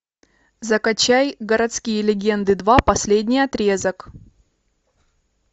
закачай городские легенды два последний отрезок